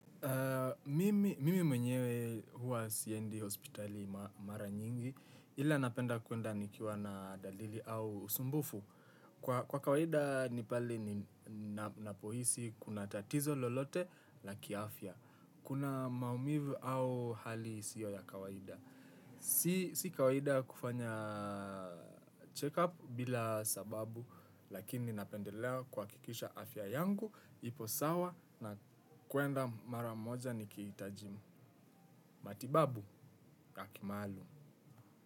Mimi mwenyewe huwa siendi hospitali mara nyingi ila napenda kwenda nikiwa na dalili au usumbufu. Kwa kawaida ni pale ninapohisi kuna tatizo lolote la kiafya. Kuna maumivu au hali sio ya kawaida. Si kawaida kufanya check up bila sababu lakini napendelea kuhakikisha afya yangu. Ipo sawa na kwenda maramoja nikihitaji matibabu ya kimaalum.